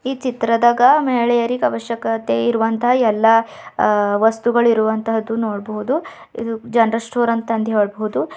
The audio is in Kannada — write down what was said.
ಈ ಚಿತ್ರದಾಗ ಮಹಿಳೆಯರಿಗೆ ಅವಶ್ಯಕತೆ ಇರುವಂತಹ ಎಲ್ಲಾ ಆ ವಸ್ತುಗಳಿರುವಂತಹದ್ದು ನೋಡಬಹುದು ಇದು ಜನರಲ್ ಸ್ಟೋರ್ ಅಂತಂದು ಹೇಳ್ಬಹುದು.